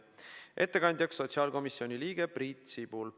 Ettekandjaks on sotsiaalkomisjoni liige Priit Sibul.